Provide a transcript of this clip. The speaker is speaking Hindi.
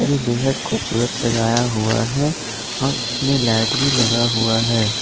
जो बेहद खूबसूरत सजाया हुआ है और इसमें लाइट भी लगा हुआ है।